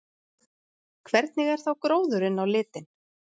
Hvernig er þá gróðurinn á litinn?